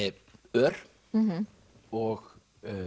ör og